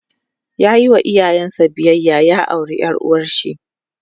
yayi wa iyayen sa biyayya ya aure ƴar uwarshi